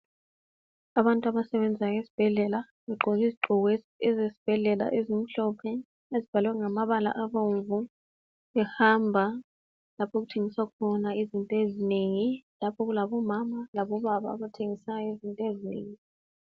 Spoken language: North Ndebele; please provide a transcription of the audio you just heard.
Abantu abasebenzayo ezibhedlela begqoke izigqoko ezezibhedlela ezimhlophe ezibhalwe ngamabala abomvu behamba lapho okuthengiswa khona izinto ezinengi lapho okulabomama labo baba abathengisangisayo izinto ezinengi.